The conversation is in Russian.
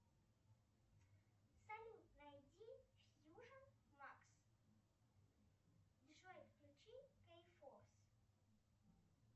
салют найди вьюжен макс джой включи кейфорс